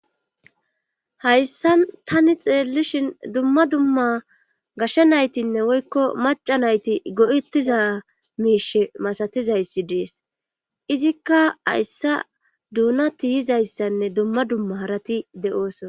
Hayssan tani xeellishin dumma dumma gashe naytinne woykko macca nayti go7ettiza miishe masatizayssi dees izikka hayssa duuna tiyizayssanne duma dumma harati de7ooso.